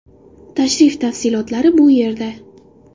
Tashrif tafsilotlari bu yerda .